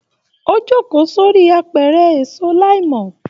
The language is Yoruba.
O joko sori àpẹrẹ èso laimọ